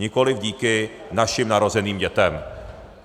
Nikoliv díky našim narozeným dětem.